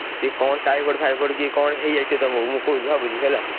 ସିଏ କଣ ଟାଇଫଏଡ ଫାଇଫଏଡ କି କଣ ହେଇଯାଇଥିବ ତମୁକୁ ମୁଁ କହୁଛି ଭାବୁଛି ହେଲା।